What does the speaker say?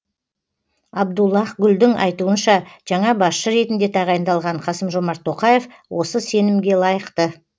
абдуллах гүлдің айтуынша жаңа басшы ретінде тағайындалған қасым жомарт тоқаев осы сенімге лайықты